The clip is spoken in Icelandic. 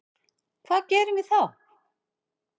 Hvað gerum við þá?